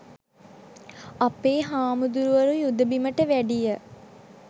අපේ හාමුදුරුවරු යුද බිමට වැඩිය